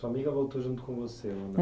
Sua amiga voltou junto com você?